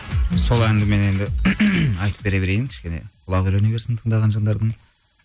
сол әнді мен енді айтып бере берейін кішкене құлағы үйрене берсін тыңдаған жандардың